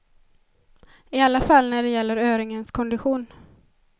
I alla fall när det gäller öringens kondition.